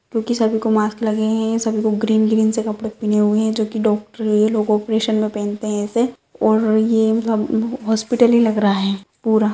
क्योकि सभी को मास्क लगे हैं सभी ग्रीन ग्रीन कपड़े पहने हुए हैं जो की डॉक्टर लोग ऑपरेशन में पहनते हैं इसे और ये हॉस्पिटल ही लग रहा है पूरा।